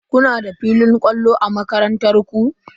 Kuna da filin kwallon a makarantar ku?